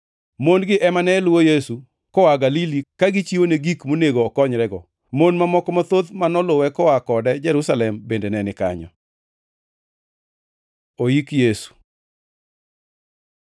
Mon-gi ema ne luwo Yesu koa Galili ka gichiwone gik monego okonyrego. Mon mamoko mathoth ma noluwe koa kode Jerusalem bende ne ni kanyo. Oiki Yesu